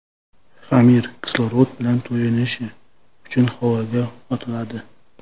Xamir kislorod bilan to‘yinishi uchun havoga otiladi.